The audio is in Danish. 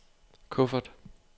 kuffert